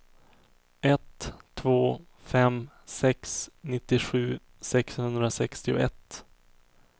ett två fem sex nittiosju sexhundrasextioett